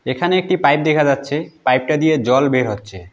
এখানে একটি পাইপ দেখা যাচ্ছে পাইপটা দিয়ে জল বের হচ্ছে।